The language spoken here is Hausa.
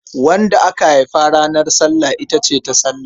Wadda aka haifa ranar Sallah ita ce Tasallah.